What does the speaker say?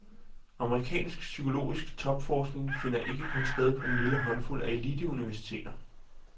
Amerikansk psykologisk topforskning finder ikke kun sted på den lille håndfuld af eliteuniversiteter.